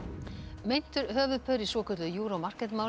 meintur höfuðpaur í svokölluðu Euro Market máli